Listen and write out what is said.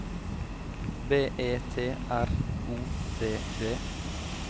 B E T R O D D